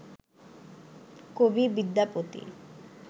কবি বিদ্যাপতি